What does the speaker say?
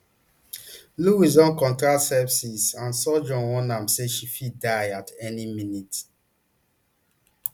louise don contract sepsis and surgeon warn am say she fit die at any minute